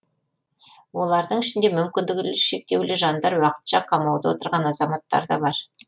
олардың ішінде мүмкіндігі шектеулі жандар уақытша қамауда отырған азаматтар да бар